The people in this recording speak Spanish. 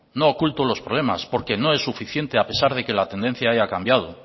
no oculto los problemas porque no es suficiente a pesar de que la tendencia haya cambiado